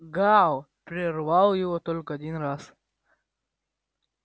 гаал прервал его только один раз